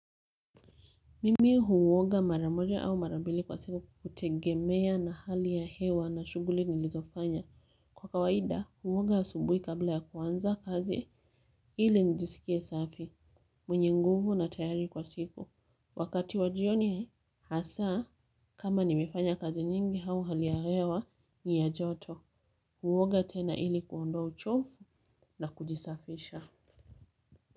Mimi huoga mara moja au mara mbili kwa siku kutegemea na hali ya hewa na shughuli nilizofanya. Kwa kawaida huoga asubui kabla ya kuanza kazi ili nijisikie safi, mwenye nguvu na tayari kwa siku. Wakati wa jioni hasa kama nimefanya kazi nyingi au hali ya hewa ni ya joto. Huoga tena ili kuondoa uchofu na kujisafisha.